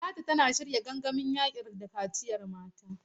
Talatu tana shirya gangamin yaƙi da kaciyar mata.